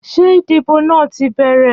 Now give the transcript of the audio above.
Ṣé ìdìbò náà ti bẹ̀rẹ̀?